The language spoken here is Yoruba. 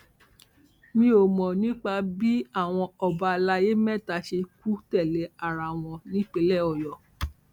mi ò mọ nípa bí àwọn ọba àlàyé mẹta ṣe kù tẹlé ara wọn nípínlẹ ọyọ